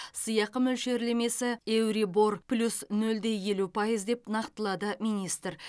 сыйақы мөлшерлемесі еурибор плюс нөл де елу пайыз деп нақтылады министр